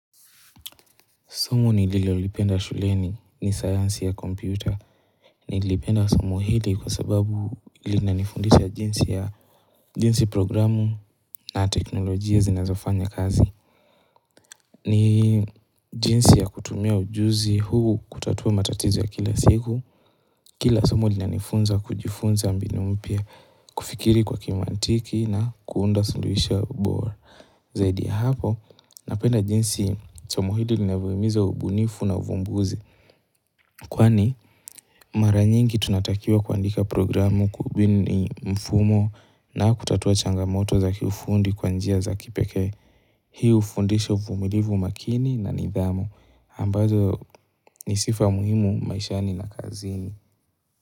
Somo nililolipenda shuleni ni sayansi ya kompyuta. Nilipenda somo hili kwa sababu lilanifundisha jinsi ya jinsi programu na teknolojia zinazofanya kazi. Ni jinsi ya kutumia ujuzi huu kutatua matatizo ya kila siku. Kila somo lilanifunza kujifunza mbinu mpya kufikiri kwa kimantiki na kuunda suluhisho bora. Zaidi ya hapo, napenda jinsi somo hili linavyohimiza ubunifu na uvumbuzi. Kwani mara nyingi tunatakiwa kuandika programu kubuni mfumo na kutatua changamoto za kiufundi kwa njia za kipekee. Hii hufundisha uvumilivu umakini na nidhamu ambazo ni sifa muhimu maishani na kazini.